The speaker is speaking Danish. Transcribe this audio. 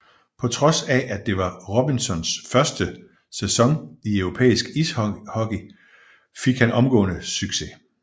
På trods af at det var Robinsons første sæson i europæisk ishockey fik han omgående succes